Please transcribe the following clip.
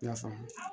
I y'a faamu